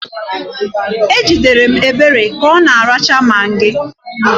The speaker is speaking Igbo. Ejidere Obere ka ọ na-aracha magị.